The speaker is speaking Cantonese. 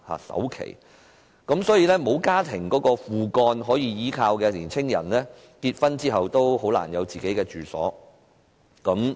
所以，不能依靠家庭或"父幹"的青年人，在結婚後很難有自己的住所。